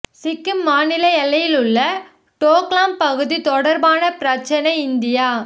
சிக்கிம் மாநில எல்லையில் உள்ள டோக்லாம் பகுதி தொடர்பான பிரச்சினை இந்தியா